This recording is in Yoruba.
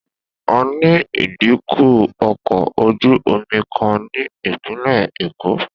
A ní ìdíkọ̀ ọkọ̀ ojú-omi kan ní Ìpínlẹ̀ Èkó